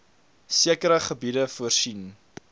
sekere gebiede voorsien